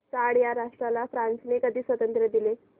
Chad या राष्ट्राला फ्रांसने कधी स्वातंत्र्य दिले